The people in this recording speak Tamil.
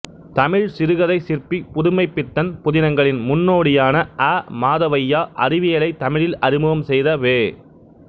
தமிழ் சிறுகதைச் சிற்பி புதுமைப்பித்தன் புதினங்களின் முன்னோடியான அ மாதவையா அறிவியலைத் தமிழில் அறிமுகம் செய்த பெ